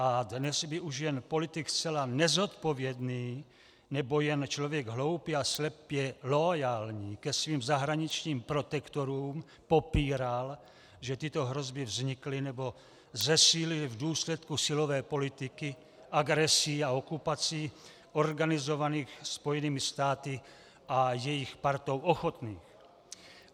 A dnes by už jen politik zcela nezodpovědný nebo jen člověk hloupý a slepě loajální ke svým zahraničním protektorům popíral, že tyto hrozby vznikly nebo zesílily v důsledku silové politiky, agresí a okupací organizovaných Spojenými státy a jejich partou ochotných.